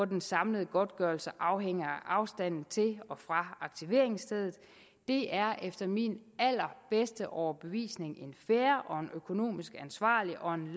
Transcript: den samlede godtgørelse afhænger af afstanden til og fra aktiveringsstedet det er efter min allerbedste overbevisning en fair og en økonomisk ansvarlig og en